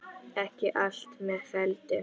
Ekki allt með felldu